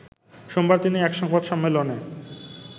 সোমবার তিনি একসংবাদ সম্মেলনে